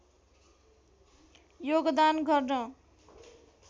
योगदान गर्न